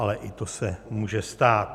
Ale i to se může stát.